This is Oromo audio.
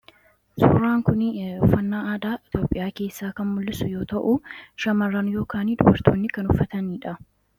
Suuraan kun uffannaa aadaa Itoophiyaa keessaa kan mul'isu yoo ta'u, shamarran (dubartoonni) kan uffatanii dha.